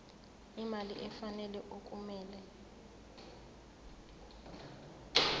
imali efanele okumele